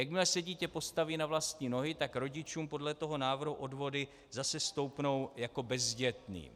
Jakmile se dítě postaví na vlastní nohy, tak rodičům podle toho návrhu odvody zase stoupnou jako bezdětným.